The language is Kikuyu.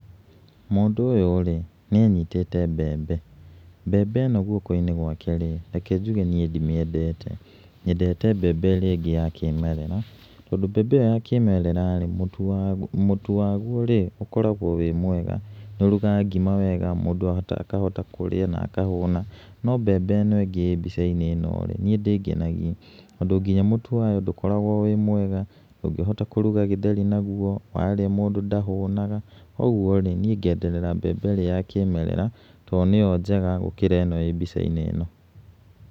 Mũndũ ũyũ-rĩ nĩanyitĩte mbembe, mbembe ĩno guoko-inĩ gwake-rĩ reke njuge niĩ ndimĩendete. Nyendete mbembe ĩrĩa ĩngĩ ya kĩmerera, tondũ mbembe iyo ya kĩmerera mũtu waguo rĩ ũkoragwo wĩ mwega nĩ ũrugaga ngima wega mũndũ akahota kurĩa na akahota kũhũna. No mbembe ĩno ĩngĩ ĩ mbica-inĩ ĩno rĩ niĩ ndĩngenagia, tondũ nginya mũtu wayo ndũkoragwo wĩ mwega ndũngĩhota kũruga gĩtheri naguo, warĩa mũndũ ndahũnaga. Koguo-rĩ niĩ ngenderera mbembe ĩrĩa ya kĩmerera tondũ nĩyo njega gũkĩra ĩno ĩrĩ mbica-inĩ ĩno.